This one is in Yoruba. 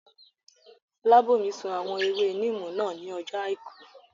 Fọlábòmí sun àwọn ewé níìmù náà ní ọjọ́ àìkú